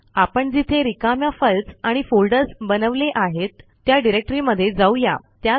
आपण जिथे रिकाम्या फाईल्स आणि फोल्डर्स बनवले आहेत त्या डिरेक्टरीमध्ये जाऊ या